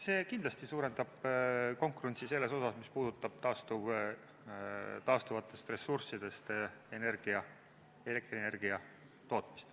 See kindlasti suurendab konkurentsi selles osas, mis puudutab taastuvatest ressurssidest elektrienergia tootmist.